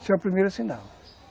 Isso é o primeiro sinal.